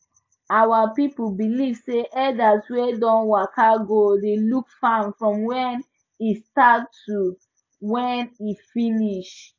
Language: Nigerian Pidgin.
our people believe say elders wey don waka go dey look farm from when e start to when e finish